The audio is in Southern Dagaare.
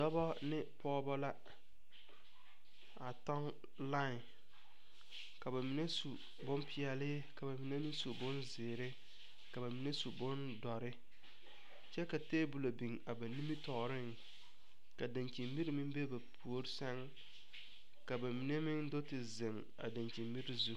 Dɔbɔ ne pɔgɔbɔ la. A toŋ lain. Ka ba mene su boŋ piɛle ka ba mene meŋ su bon ziire ka ba mene meŋ su bon doure kyɛ ka tabule biŋ a ba nimitooreŋ. Ka dankyen bire meŋ be ba poore sɛŋ. Ka ba mene meŋ do te zeŋ a dankyen bire zu